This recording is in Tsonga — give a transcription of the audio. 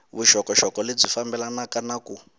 vuxokoxoko lebyi fambelanaka na ku